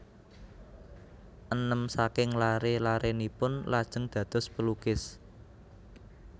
Enem saking laré larénipun lajeng dados pelukis